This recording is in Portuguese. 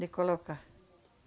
De colocar.